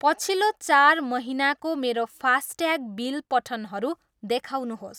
पछिल्लो चार महिनाको मेरो फासट्याग बिल पठनहरू देखाउनुहोस्।